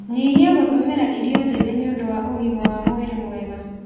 Nyihia gũtũmĩra irio njĩthĩ nĩ ũndũ wa ũgima wa mwĩrĩ mwega.